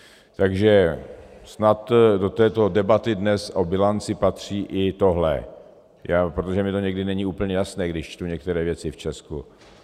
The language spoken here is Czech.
Takže snad do této debaty dnes o bilanci patří i tohle, protože mi to někdy není úplně jasné, když čtu některé věci v Česku.